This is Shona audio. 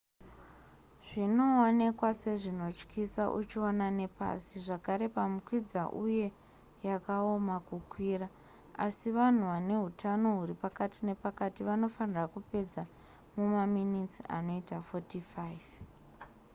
zvinoonekwa sezvinotyisa uchiona nepasi zvakare pamukwidza uye yakaoma kukwira asi vanhu vane hutano huri pakati nepakati vanofanirwa kupedza mumaminitsi anoita 45